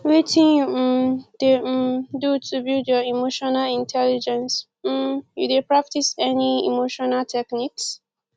wetin you um dey um do to build your emotional intelligence um you dey practice any emotional techniques